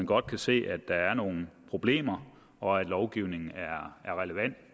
godt se at der er nogle problemer og at lovgivningen er relevant